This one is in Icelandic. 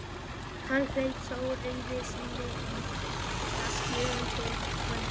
Hann hélt þó reiði sinni í skefjum til kvölds.